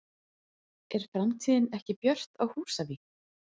Er framtíðin ekki björt á Húsavík?